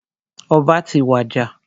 Ọba ti wàjà.